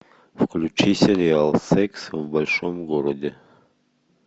включи сериал секс в большом городе